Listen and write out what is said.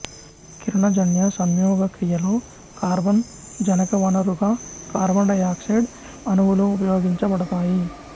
కిరణజన్య సంయోగక్రియలో కార్బన్ జనకవనరుగా కార్బన్ డై ఆక్సైడ్ అణువులు ఉపయోగించబడతాయి